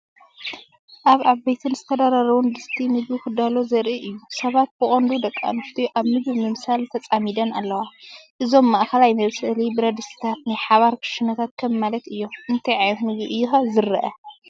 ኣብ ዓበይቲን ዝተደራረቡን ድስቲ ምግቢ ክዳሎ ዘርኢ እዩ። ሰባት ብቐንዱ ደቂ ኣንስትዮ ኣብ ምግቢ ምብሳል ተጸሚደን ኣለዋ። እዞም ማእከላይ መብሰሊ ብረትድስትታት ናይ ሓባር ክሽነታት ከም ማለት አዮም። እንታይ ዓይነት ምግቢ እዩ ኸ ዝርአ?